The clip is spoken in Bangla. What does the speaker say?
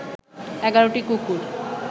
১১টি কুকুর